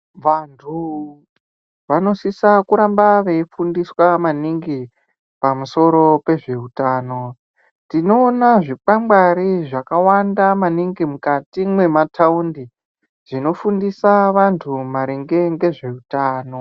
Vantu vanosisa kuramba veyifundiswa maningi pamusoro pezveutano, tinoona zvikwangwari zvakawanda maningi mukati mwemataundi, zvinofundisa vantu maringe ngezveutano.